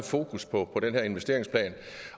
fokus på den her investeringsplan